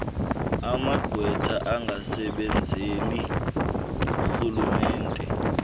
amagqwetha angasebenzeli rhulumente